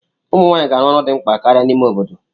Ụmụ nwanyị ga-arụ ọrụ dị mkpa karịa n'ime obodo.